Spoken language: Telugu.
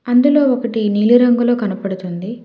అందులో ఒకటి నీలి రంగులో కనబడుతుంది.